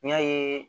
N y'a ye